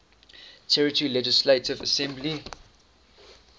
territory legislative assembly